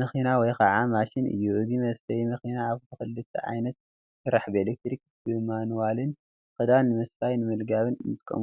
መኪና ወይ ከዓ ማሽን እዩ፡፡ እዚ መስፈዬ መኪና እዚ ብክልተ ዓይነት ይሰርሕ፡፡ ብኤሌክትሪክን ብማኑዋልን ክዳን ንምስፋን ንምልጋብን ንጥቀመሉ፡፡